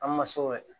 An ma se o kɛ